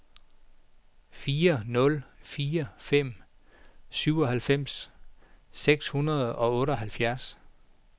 fire nul fire fem syvoghalvfems seks hundrede og otteoghalvfjerds